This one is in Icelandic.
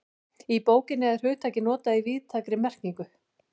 Í bókinni er hugtakið notað í víðtækri merkingu.